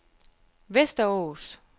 Västerås